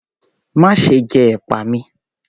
Má ṣe jẹ ẹ̀pà mi!